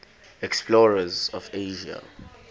explorers of asia